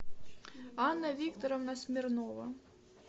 анна викторовна смирнова